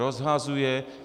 Rozhazuje.